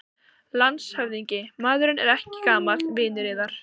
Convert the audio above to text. LANDSHÖFÐINGI: Maðurinn er ekki gamall vinur yðar?